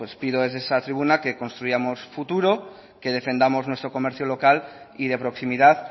pido desde esta tribuna que construyamos futuro que defendamos nuestro comercio local y de proximidad